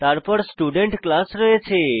তারপর student class রয়েছে